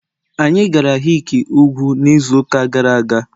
anyị gara hick ugwu n'izu ụka gara aga